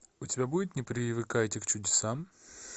у тебя будет не привыкайте к чудесам